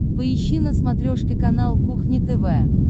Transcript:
поищи на смотрешке канал кухня тв